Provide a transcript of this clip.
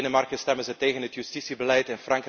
In Denemarken stemmen ze tegen het justitiebeleid.